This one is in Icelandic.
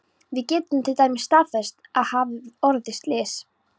Við getum til dæmis staðfest að það hafi orðið slys.